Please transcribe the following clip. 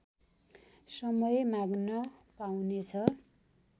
समय माग्न पाउनेछ